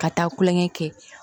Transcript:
Ka taa kulonkɛ kɛ